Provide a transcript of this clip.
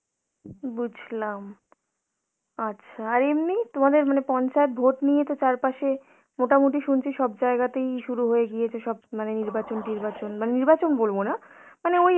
বুঝলাম. আচ্ছা, আর এমনি তোমাদের মানে পঞ্চায়েত ভোট নিয়েতো চারপাশে মোটামুটি শুনছি সব জায়গাতেই শুরু হয়ে গিয়েছে সব মানে নির্বাচন টির্বাচন, মানে নির্বাচন বলবো না, মানে ওই